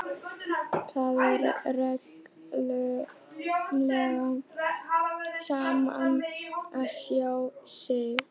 Það er reglulega gaman að sjá þig!